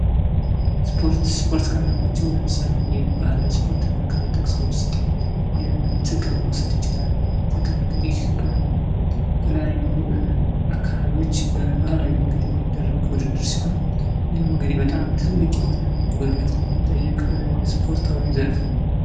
ስፖርት:-ስፖርት ከምንላቸው ለምሳሌ የባህላዊ ስፖርት ብለን ከምንጠቅሰው ውስጥ የትግልን መውሰድ እንችላለን ትግል እንግዲህ የተለያዩ አካባቢዎች በባህላዊ መንገድ የሚደረግ ውድድር ሲሆን ይህም እንግዲህ በጣም ትልቅ የሆነ ጉልበት የሚጠይቅ ስፖርታዊ ዘርፍ ነው።